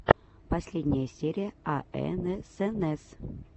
последняя серия аэнэсэнэс